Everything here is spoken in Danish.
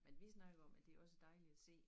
Men vi snakkede om at det også dejlligt at se